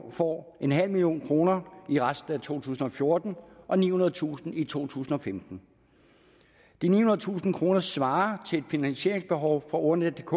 får en halv million kroner i resten af to tusind og fjorten og nihundredetusind kroner i to tusind og femten de nihundredetusind kroner svarer til et finansieringsbehov for ordnetdk